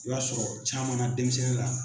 I b'a sɔrɔ caman na denmisɛnnin la.